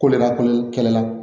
Ko ne ka ko kɛlɛ la